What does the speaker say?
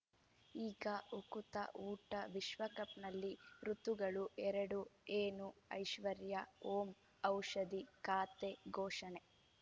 ಈಗ ಉಕುತ ಊಟ ವಿಶ್ವಕಪ್‌ನಲ್ಲಿ ಋತುಗಳು ಎರಡು ಏನು ಐಶ್ವರ್ಯಾ ಓಂ ಔಷಧಿ ಖಾತೆ ಘೋಷಣೆ